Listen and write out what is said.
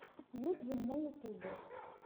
юджин на ютубе